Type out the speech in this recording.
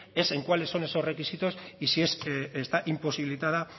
es en cuáles son esos requisitos y si está imposibilitada